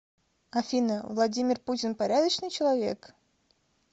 афина владимир путин порядочный человек